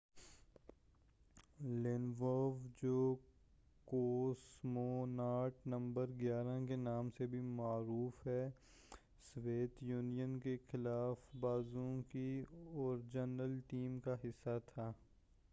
Lenovo جو cosmonaut number 11 کے نام سے بھی معروف ہے سوویت یونین کے خلا بازوں کی اوریجنل ٹیم کا حصہ تھا